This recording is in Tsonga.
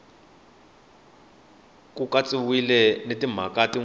ku katsiwile na timhaka tin